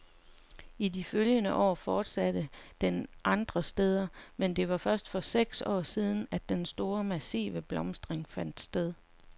I de følgende år fortsatte den andre steder, men det var først for seks år siden , at den store, massive blomstring fandt sted.